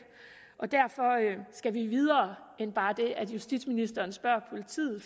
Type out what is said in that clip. og derfor skal vi videre end bare det at justitsministeren spørger politiet